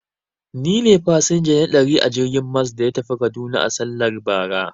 Ni ne fasinja na ɗari a jirgin mas da ya tafi kaduna a sallar bara.